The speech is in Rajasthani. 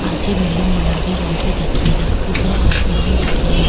पाछे बिल्डिंग गुलाबी रंग की दिखरी ऊपर आसमान दिख रियो।